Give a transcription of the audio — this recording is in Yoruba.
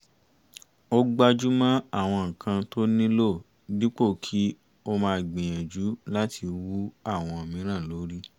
ó gbájú mọ́ àwọn nǹkan tó nílò dípò kí ó máa gbìyànjú láti wú àwọn mìíràn lórí